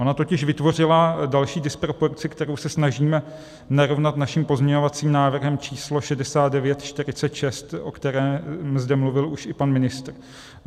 Ona totiž vytvořila další disproporci, kterou se snažíme narovnat naším pozměňovacím návrhem číslo 6946, o kterém zde mluvil už i pan ministr.